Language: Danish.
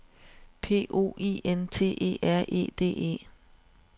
P O I N T E R E D E